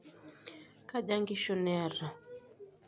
Kaja inkishu niata?